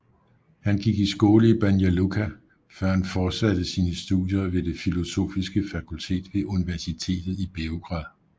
Han gik i skole i Banja Luka før han fortsatte sine studier ved det filosofiske fakultet ved universitetet i Beograd